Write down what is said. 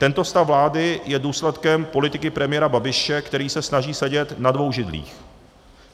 Tento stav vlády je důsledkem politiky premiéra Babiše, který se snaží sedět na dvou židlích.